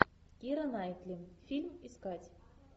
кира найтли фильм искать